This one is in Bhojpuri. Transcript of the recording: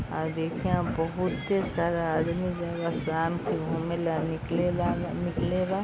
आ इ देखिए बहुते सारा आदमी जउन शाम के घुमेला निकलेला उ निकले बा।